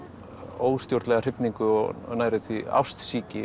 óstjórnlega hrifningu og nærri því